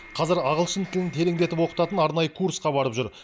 қазір ағылшын тілін тереңдетіп оқытатын арнайы курсқа барып жүр